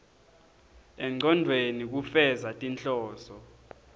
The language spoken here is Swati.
engcondvweni kufeza tinhloso